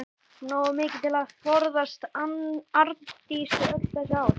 Nógu mikið til að forðast Arndísi öll þessi ár.